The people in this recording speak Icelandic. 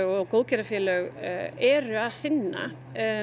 og góðgerðarfélög eru að sinna